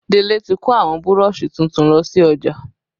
Délé tí kò àwọn Burọ̀ṣì tuntun lọ sí ọjà